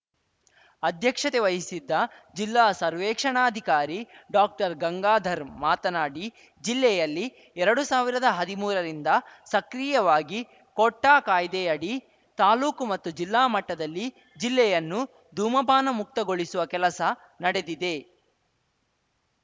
ಅಧ್ಯಕ್ಷತೆ ವಹಿಸಿದ್ದ ಜಿಲ್ಲಾ ಸರ್ವೇಕ್ಷಣಾಧಿಕಾರಿ ಡಾಕ್ಟರ್ಗಂಗಾಧರ್‌ ಮಾತನಾಡಿ ಜಿಲ್ಲೆಯಲ್ಲಿ ಎರಡು ಸಾವಿರದ ಹದಿಮೂರರಿಂದ ಸಕ್ರಿಯವಾಗಿ ಕೋಟ್ಟಾಕಾಯ್ದೆಯಡಿ ತಾಲೂಕು ಮತ್ತು ಜಿಲ್ಲಾ ಮಟ್ಟದಲ್ಲಿ ಜಿಲ್ಲೆಯನ್ನು ಧೂಮಪಾನ ಮುಕ್ತಗೊಳಿಸುವ ಕೆಲಸ ನಡೆದಿದೆ